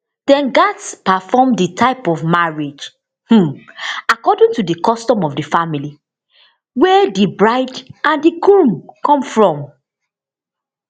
dem gatz perform dis type of marriage um according to di custom of di family wey di bride and di groom come from